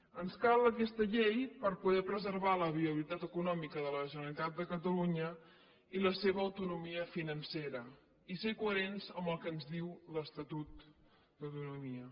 ens cal aquesta llei per poder preservar la viabilitat econòmica de la generalitat de catalunya i la seva autonomia financera i ser coherents amb el que ens diu l’estatut d’autonomia